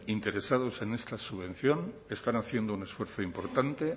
interesados en esta subvención están haciendo un esfuerzo importante